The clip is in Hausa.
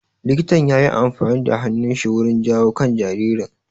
Likitan yayi amfani da hannun shi wurin jawo kan jaririn